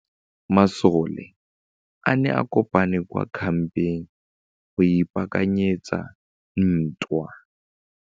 Masole a ne a kopane kwa kampeng go ipaakanyetsa ntwa.